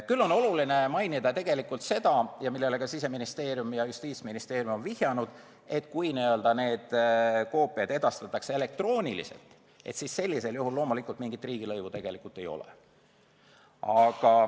Küll on oluline mainida seda, millele ka Siseministeerium ja Justiitsministeerium on vihjanud, et kui need koopiad edastatakse elektrooniliselt, siis loomulikult mingit riigilõivu ei ole.